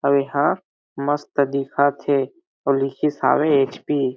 अउ एहा मस्त दिखत हे अउ लिखिस हावे एच पी --